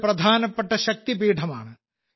ഇതൊരു പ്രധാനപ്പെട്ട ശക്തിപീഠമാണ്